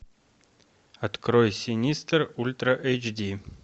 открой синистер ультра эйч ди